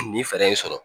Nin fɛɛrɛ in sɔrɔ